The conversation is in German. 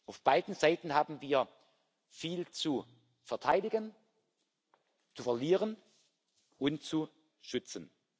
Auf beiden Seiten haben wir viel zu verteidigen, zu verlieren und zu schützen.